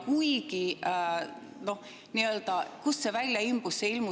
Kuigi, kust see välja imbus?